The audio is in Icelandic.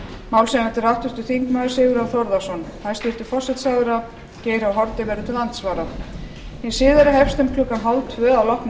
málshefjandi er háttvirtur þingmaður sigurjón þórðarson hæstvirtur forsætisráðherra geir h haarde verður til andsvara hin síðari hefst klukkan eitt þrjátíu að loknu